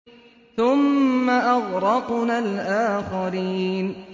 ثُمَّ أَغْرَقْنَا الْآخَرِينَ